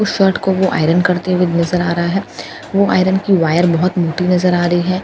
उस शर्ट को वो आयरन करते हुए नजर आ रहा है वो आयरन की वायर बहुत मोटी नजर आ रही है कुछ --